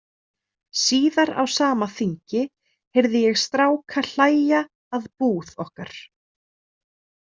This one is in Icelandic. Síðar á sama þingi heyrði ég stráka hlæja að búð okkar.